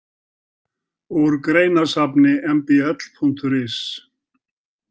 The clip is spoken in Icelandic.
Úr greinasafni mbl.is.